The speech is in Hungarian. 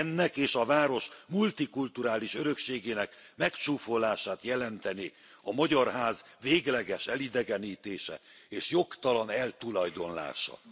Ennek és a város multikulturális örökségének megcsúfolását jelentené a Magyar Ház végleges elidegenítése és jogtalan eltulajdonlása.